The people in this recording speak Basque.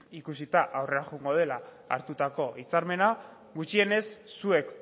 ikusita aurrera joango dela hartutako hitzarmena gutxienez zuek